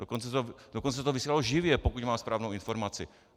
Dokonce se to vysílalo živě, pokud mám správnou informaci.